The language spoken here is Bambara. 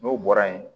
N'o bɔra yen